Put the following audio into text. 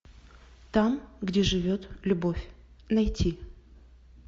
там где живет любовь найти